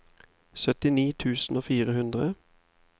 syttini tusen og fire hundre